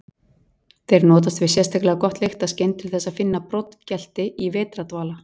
Þeir notast við sérlega gott lyktarskyn til þess að finna broddgelti í vetrardvala.